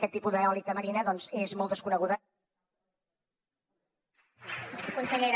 aquest tipus d’eòlica marina doncs és molt desconeguda